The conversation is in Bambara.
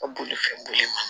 Ka bolifɛn boli ma